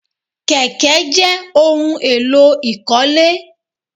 Kèké jẹ́ ohun èlò ìkọ́lé